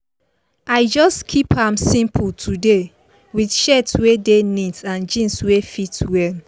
i just keep am simple today with shirt wey dey neat and jeans wey fit well